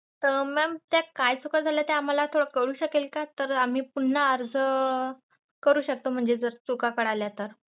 Mam त्या काय चुका झालेत त्या आम्हाला कळू शकेल का? तर आम्ही पुन्हा आर्ज करू शकतो म्हणजे तर चुका कळल्या तर.